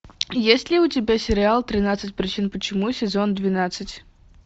есть ли у тебя сериал тринадцать причин почему сезон двенадцать